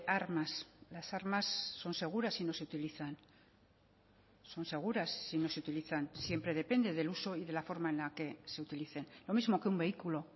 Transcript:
armas las armas son seguras si no se utilizan son seguras si no se utilizan siempre depende del uso y de la forma en la que se utilicen lo mismo que un vehículo